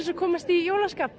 að komast í jólaskap